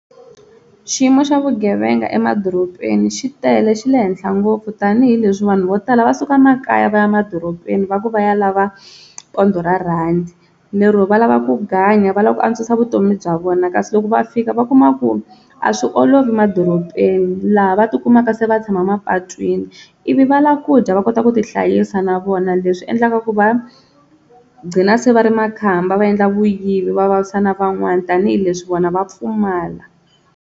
Xiyimo xa vugevenga emadorobeni xi tele xi le henhla ngopfu tanihileswi vanhu vo tala va suka makaya va ya emadorobeni va ku va ya lava pondho ra rhandi, lero va lava ku ganya va lava ku antswisa vutomi bya vona kasi loko va fika va kuma ku a swi olovi madorobeni laha va tikumaka se va tshama mapatwini ivi va lava kudya va kota ku ti hlayisa na vona leswi endlaka ku va gcina se va ri makhamba va endla vuyivi va vavisa na van'wana tanihileswi vona va pfumala.